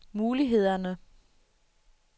mulighederne